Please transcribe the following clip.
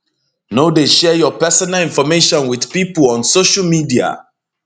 no dey share your personal information wit pipo on social media